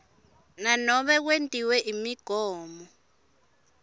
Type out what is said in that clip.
nanobe kwetiwe imigomo